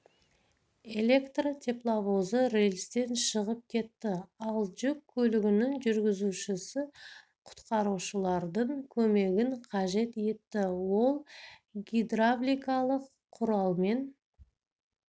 электр тепловозы рельстен шығып кетті ал жүк көлігінің жүргізушісі құтқарушылардың көмегін қажет етті ол гидравликалық құралмен